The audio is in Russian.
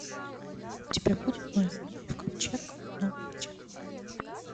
у тебя будет ноев ковчег новое начало